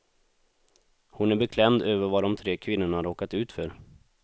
Hon är beklämd över vad de tre kvinnorna råkat ut för.